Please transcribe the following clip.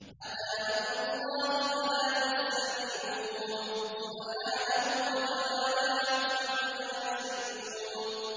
أَتَىٰ أَمْرُ اللَّهِ فَلَا تَسْتَعْجِلُوهُ ۚ سُبْحَانَهُ وَتَعَالَىٰ عَمَّا يُشْرِكُونَ